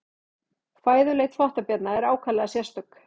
Fæðuleit þvottabjarna er ákaflega sérstök.